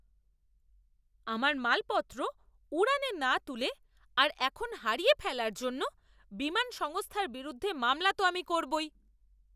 আমার মালপত্র উড়ানে না তুলে আর এখন হারিয়ে ফেলার জন্য বিমান সংস্থার বিরুদ্ধে মামলা তো আমি করবই।